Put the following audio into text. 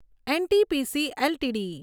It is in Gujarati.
NTPC LTD